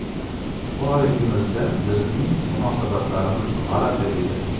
Bolaligimizda bizning munosabatlarimiz g‘alati edi.